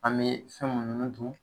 An bee fɛn munnu dun